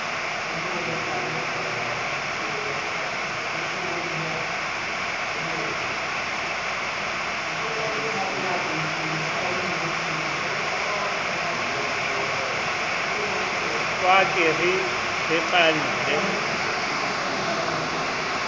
ba ke re re qhalle